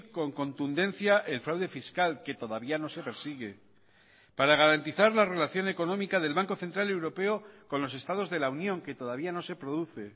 con contundencia el fraude fiscal que todavía no se persigue para garantizar la relación económica del banco central europeo con los estados de la unión que todavía no se produce